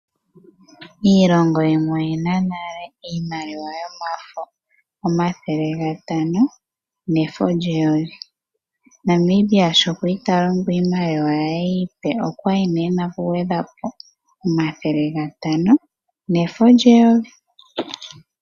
Iilongo yimwe oyina nale iimaliwa yomafo, omathele gatano nefo lyeyovi, Namibia shoo kwali talongo iimaliwa ye iipe okwali nee ena oku gwedhapo oN$500 nefo lye N$1000.